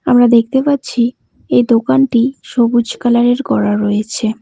আমরা দেখতে পাচ্ছি এই দোকানটি সবুজ কালার -এর করা রয়েছে।